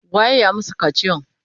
Waye ya masu kaciyan?